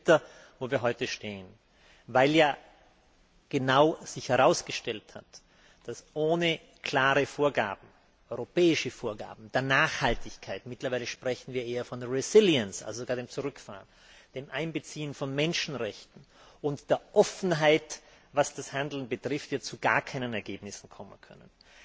Es ist sehr bitter, wo wir heute stehen, weil sich herausgestellt hat, dass wir ohne klare europäische Vorgaben für Nachhaltigkeit mittlerweile sprechen wir eher von also sogar dem Zurückfahren ohne Einbeziehen von Menschenrechten und Offenheit, was das Handeln betrifft, zu gar keinen Ergebnissen kommen können.